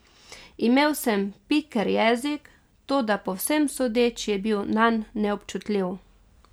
Imel sem piker jezik, toda po vsem sodeč je bil nanj neobčutljiv.